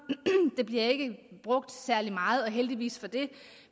det bliver ikke brugt særlig meget og heldigvis for det